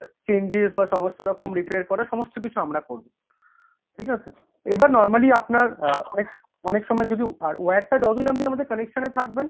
changes বা সমস্তরকম repair করা সমস্তকিছু আমরা করবো, ঠিকাছে? এবার normally আপনার অনেকসময় যদি wire টা যার জন্যে আপনি আমাদের connection এ থাকবেন,